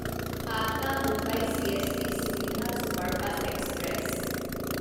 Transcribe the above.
Patna Mumbai CST Suvidha superfast express